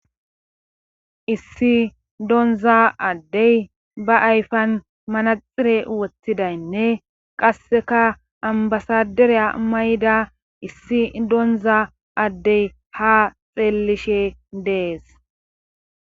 issi donza addey ba ayfan manaxire wothidaynne qasseka ambasaderiya mayda issi donza addey ha xeellishe dees